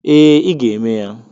Ee, ị ga eme ya.